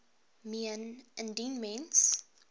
meen indien mens